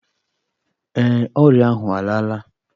Ee, ọrịa ahụ alaala